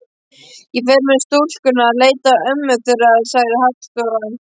Ég fer með stúlkurnar að leita ömmu þeirra, sagði Halldóra.